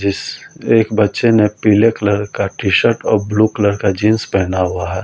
जिस एक बच्चे ने पीले कलर का टी-शर्ट और ब्लू कलर का जींस पहना हुआ है।